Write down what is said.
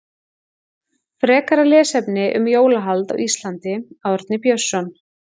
Frekara lesefni um jólahald á Íslandi Árni Björnsson.